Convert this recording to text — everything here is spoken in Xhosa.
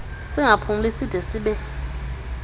singaphumli side sibe